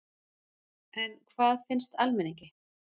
En hvað finnst almenningi?